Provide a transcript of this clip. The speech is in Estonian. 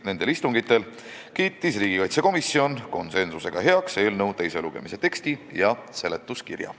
Nendel istungitel kiitis riigikaitsekomisjon konsensusega heaks eelnõu teise lugemise teksti ja seletuskirja.